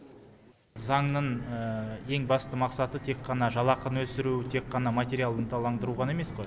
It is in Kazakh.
заңның ең басты мақсаты тек қана жалақыны өсіру тек қана материалды ынталандыру ғана емес қой